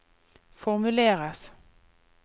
formuleres